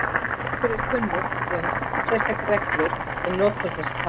Okkur er ekki kunnugt um sérstakar reglur um notkun þessa tákns.